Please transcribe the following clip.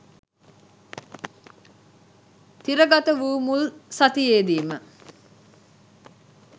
තිරගතවූ මුල් සතියේදිම